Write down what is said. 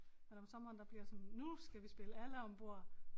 At om sommeren der bliver sådan nu skal vi spille alle om bord